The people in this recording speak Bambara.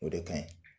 O de ka ɲi